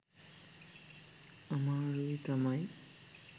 අමාරුයි තමයි.